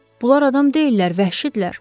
Bunlar adam deyillər, vəhşidirlər.